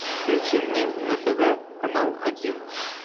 включи мне на тв канал один